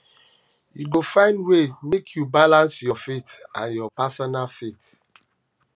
you go find um way make you balance your faith and your personal faith um